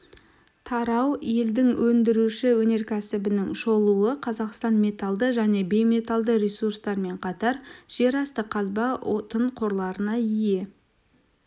тарау елдің өндіруші өнеркәсібінің шолуы қазақстан металды және бейметалды ресурстармен қатар жерасты қазба отын қорларына ие